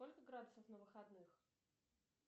сколько градусов на выходных